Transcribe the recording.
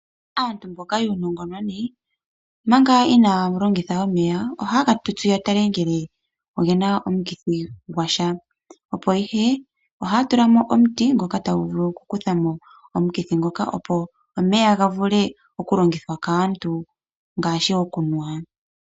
Aantu mboka yuunongononi manga inaaya longitha omeya ohaye ga tutsu ya tale ngele ogena omukithi gwasha, opo ihe ohaya tula mo omuti ngoka tagu vulu oku kutha mo omukithi ngoka, opo omeya ga vule oku longithwa kaantu ngaashi okunwa.